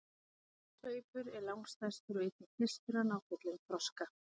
efsti sveipur er langstærstur og einnig fyrstur að ná fullum þroska